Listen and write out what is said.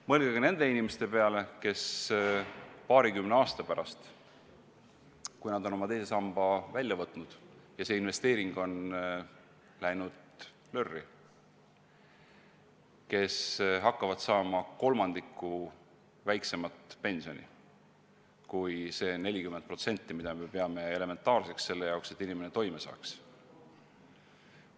Mõelge ka nende inimeste peale, kes paarikümne aasta pärast, kui nad on oma teise samba raha välja võtnud ja see investeering on läinud lörri, hakkavad saama kolmandiku võrra väiksemat pensioni kui see 40%, mida me peame elementaarseks, selleks et inimene toime tuleks.